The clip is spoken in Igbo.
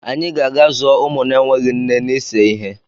Anyị ga-aga zụọ ụmụ na-enweghị nne n'ise ihe.